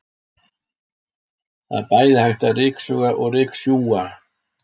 Það er bæði hægt að ryksuga og ryksjúga.